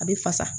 A bɛ fasa